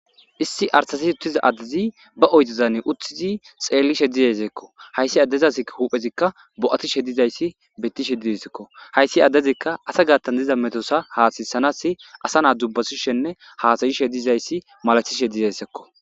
Issi artasi uttiza addezi ba oytizane uttizi xeelli she dizaseekko hayssi addezas huphezikka bo7ati she dizayssi bettishe didesekko hayssi addezikka asa gaattan diza metosa haasayisanas asa naa dubbasishenne haasayi she dizayssi malathishe dizaysekko